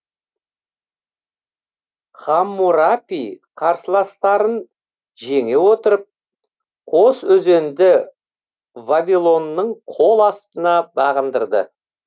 хаммурапи қарсыластарын жеңе отырып қосөзенді вавилонның қол астына бағындырды